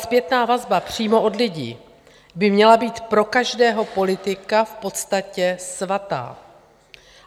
Zpětná vazba přímo od lidí by měla být pro každého politika v podstatě svatá.